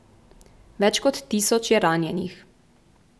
Več kot tisoč je ranjenih.